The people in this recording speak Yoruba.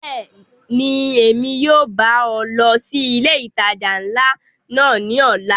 Bẹ́ẹ̀ni, Emi yóò ba ọ lọ si ile itaja nla náa ni ọla.